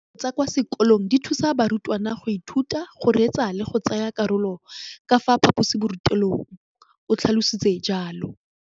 Dijo tsa kwa sekolong dithusa barutwana go ithuta, go reetsa le go tsaya karolo ka fa phaposiborutelong, o tlhalositse jalo.